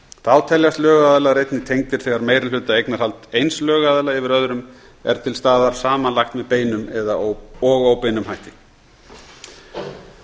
þá teljast lögaðilar einnig tengdir þegar meirihlutaeignarhald eins lögaðila yfir öðrum er til staðar samanlagt með beinum og óbeinum hætti ákvæðinu